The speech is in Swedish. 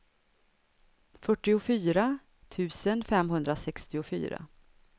fyrtiofyra tusen femhundrasextiofyra